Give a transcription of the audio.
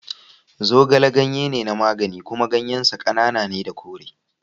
Zogale ganye ne na magani kuma ganyen sa ƙanana ne da kore.